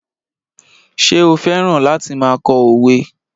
Ṣé o fẹ́ràn láti máa kọ òwe?